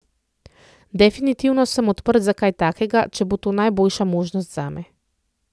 Definitivno sem odprt za kaj takega, če bo to najboljša možnost zame.